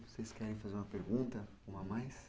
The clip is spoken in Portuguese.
Vocês querem fazer uma pergunta, uma a mais?